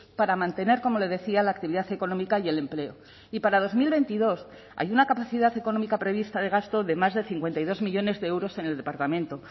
para mantener como le decía la actividad económica y el empleo y para dos mil veintidós hay una capacidad económica prevista de gasto de más de cincuenta y dos millónes de euros en el departamento